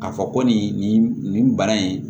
K'a fɔ ko nin nin nin bana in